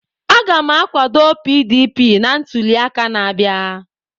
M ga-akwado PDP na ntuli aka na-abịa.